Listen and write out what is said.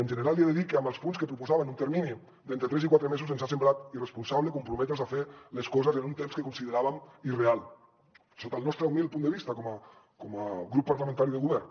en general li he de dir que en els punts que proposaven un termini d’entre tres i quatre mesos ens ha semblat irresponsable comprometre’ns a fer les coses en un temps que consideràvem irreal sota el nostre humil punt de vista com a grup parlamentari de govern